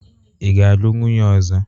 Ị ga-alụ nwunye ọzọ?